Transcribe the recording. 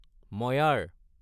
ময়াৰ